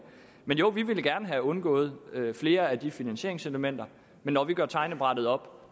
jo vi ville gerne have undgået flere af de finansieringselementer men når vi gør regnebrættet op